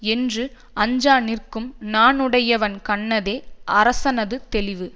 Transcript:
என்று அஞ்சாநிற்கும் நாணுடையவன் கண்ணதே அரசனது தெளிவு